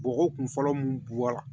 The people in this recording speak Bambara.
Bɔgɔ kun fɔlɔ mun bɔ la